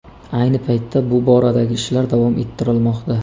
Ayni paytda bu boradagi ishlar davom ettirilmoqda.